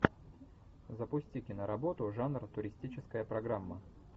запусти киноработу жанр туристическая программа